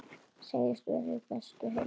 Segist vera við bestu heilsu.